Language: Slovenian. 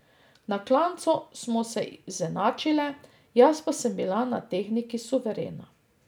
Na klancu smo se izenačile, jaz pa sem bila na tehniki suverena.